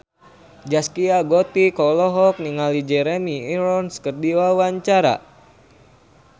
Zaskia Gotik olohok ningali Jeremy Irons keur diwawancara